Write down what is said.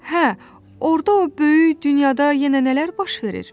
Hə, orda o böyük dünyada yenə nələr baş verir?